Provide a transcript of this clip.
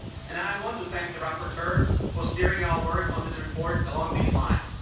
I want to thank the rapporteur for steering our work on this report along these lines.